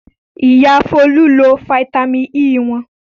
Bẹ́ẹ̀ni, Ìyá Folú lo fataímìn E wọn.